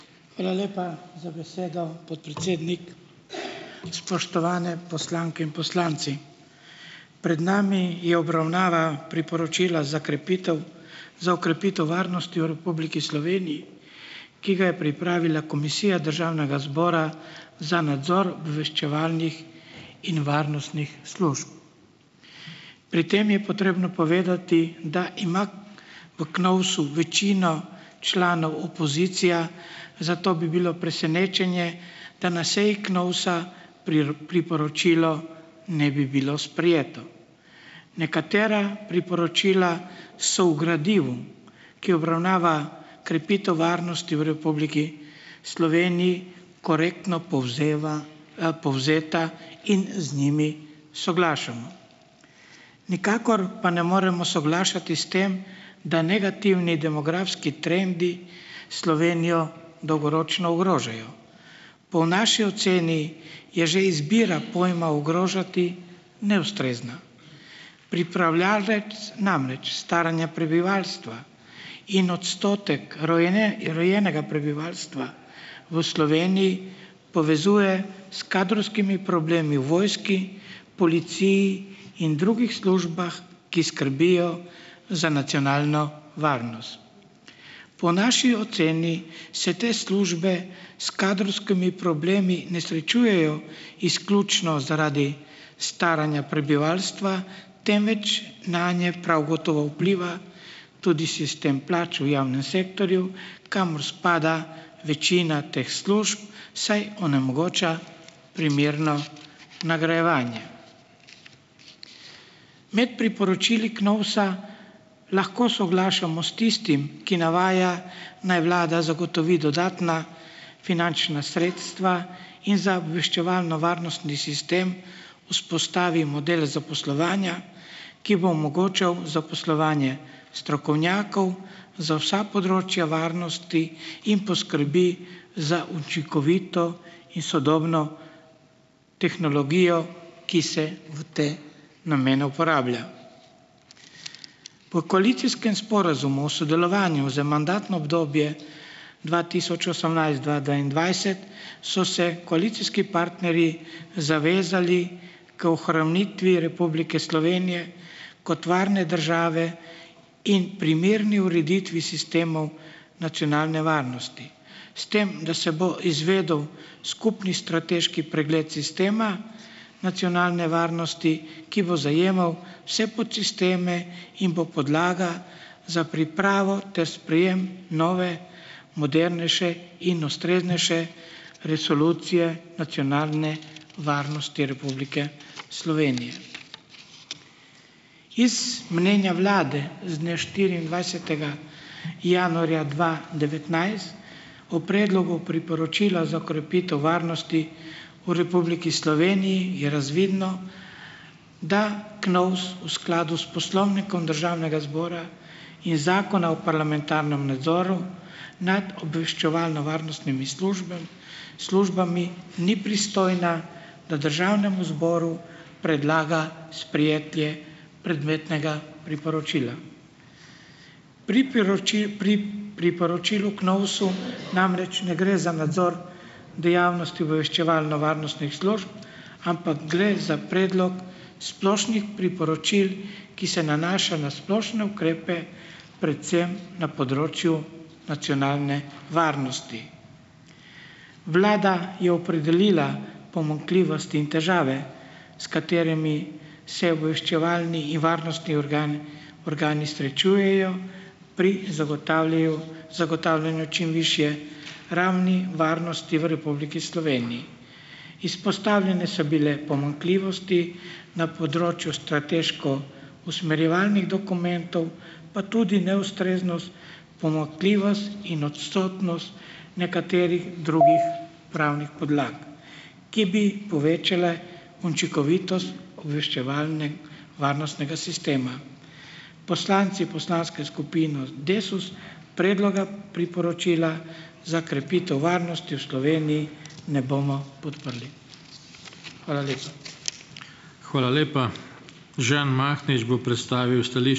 Hvala lepa za besedo, podpredsednik. Spoštovane poslanke in poslanci. Pred nami je obravnava priporočila za krepitev, za okrepitev varnosti v Republiki Sloveniji, ki ga je pripravila Komisija Državnega zbora za nadzor obveščevalnih in varnostnih služb. Pri tem je potrebno povedati, da ima v KNOVS-u večino članov opozicija, zato bi bilo presenečenje, da na seji KNOVS-a priporočilo ne bi bilo sprejeto. Nekatera priporočila so v gradivu, ki obravnava krepitev varnosti v Republiki Sloveniji, korektno povzeva, povzeta in z njimi soglašamo. Nikakor pa ne moremo soglašati s tem, da negativni demografski trendi Slovenijo dolgoročno ogrožajo. Po naši oceni je že izbira pojma ogrožati neustrezna. Pripravljavec namreč staranja prebivalstva in odstotek rojenega prebivalstva v Sloveniji povezuje s kadrovskimi problemi v vojski, policiji in drugih službah, ki skrbijo za nacionalno varnost. Po naši oceni se te službe s kadrovskimi problemi ne srečujejo izključno zaradi staranja prebivalstva, temveč nanje prav gotovo vpliva tudi sistem plač v javnem sektorju, kamor spada večina teh služb, saj onemogoča primerno nagrajevanje . Med priporočili KNOVS-a lahko soglašamo s tistim, ki navaja naj vlada zagotovi dodatna finančna sredstva in za obveščevalno-varnostni sistem vzpostavi model zaposlovanja, ki bo omogočal zaposlovanje strokovnjakov za vsa področja varnosti in poskrbi za učinkovito in sodobno tehnologijo, ki se v te namene uporablja. Po koalicijskem sporazumu sodelovanju za mandatno obdobje dva tisoč osemnajst-dva dvaindvajset so se koalicijski partnerji zavezali k ohranitvi Republike Slovenije kot varne države in primerni ureditvi sistemov nacionalne varnosti. S tem, da se bo izvedel skupni strateški pregled sistema nacionalne varnosti, ki bo zajemal vse podsisteme in bo podlaga za pripravo ter sprejem nove, modernejše in ustreznejše resolucije nacionalne varnosti Republike Slovenije. Iz mnenja vlade z dne štiriindvajsetega januarja dva devetnajst o predlogu Priporočila za krepitev varnosti v Republiki Sloveniji je razvidno, da KNOVS v skladu s Poslovnikom Državnega zbora in Zakona o parlamentarnem nadzoru nad obveščevalno-varnostnimi službami, ni pristojna, da državnemu zboru predlaga sprejetje predmetnega priporočila. Priporočil, priporočil v KNOVS-u namreč ne gre za nadzor dejavnosti obveščevalno-varnostnih služb, ampak gle za predlog splošnih priporočil, ki se nanaša na splošne ukrepe, predvsem na področju nacionalne varnosti. Vlada je opredelila pomanjkljivosti in težave, s katerimi se obveščevalni in varnostni organ, organi srečujejo pri zagotavljaju, zagotavljanju čim višje ravni varnosti v Republiki Sloveniji. Izpostavljene so bile pomanjkljivosti na področju strateško usmerjevalnih dokumentov pa tudi neustreznost, pomanjkljivost in odsotnost nekaterih drugih pravnih podlag, ki bi povečale učinkovitost obveščevalno- varnostnega sistema. Poslanci poslanske skupine Desus predloga priporočila za krepitev varnosti v Sloveniji ne bomo podprli. Hvala lepa . Hvala lepa. Žan Mahnič bo predstavil ...